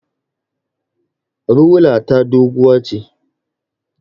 Rula ta doguwa ce